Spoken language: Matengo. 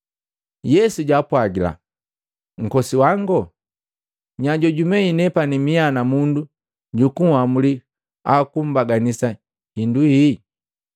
Yesu jaapwagila, “Nkose wango, nya jojumei nepani mia namundu jukuamuli au kubaganisa hindu hii?”